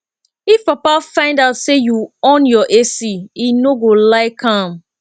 if papa find out say you on your ac he no go like am